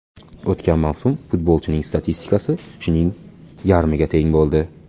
O‘tgan mavsum futbolchining statistikasi shuning yarmiga teng bo‘ldi.